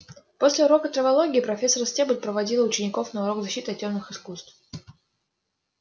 после урока травологии профессор стебль проводила учеников на урок защиты от тёмных искусств